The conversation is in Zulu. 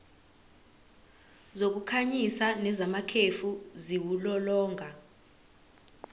zokukhanyisa nezamakhefu ziwulolonga